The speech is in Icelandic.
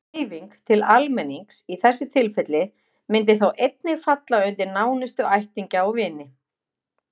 Dreifing til almennings í þessu tilfelli myndi þá einnig falla undir nánustu ættingja og vini.